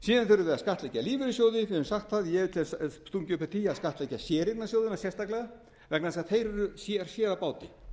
síðan þurfum við að skattleggja lífeyrissjóði við höfum sagt það ég hef stungið upp á því að skattleggja séreignarsjóðina sérstaklega vegna þess að þeir eru sér á báti